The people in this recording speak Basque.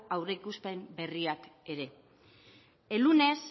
aurreikuspen berriak ere ez el lunes